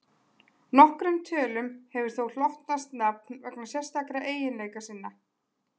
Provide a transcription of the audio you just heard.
Nokkrum tölum hefur þó hlotnast nafn vegna sérstakra eiginleika sinna.